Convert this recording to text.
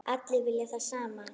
Allir vilja það sama.